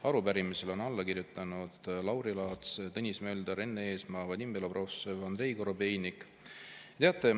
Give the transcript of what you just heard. Arupärimisele on alla kirjutanud Lauri Laats, Tõnis Mölder, Enn Eesmaa, Vadim Belobrovtsev, Andrei Korobeinik.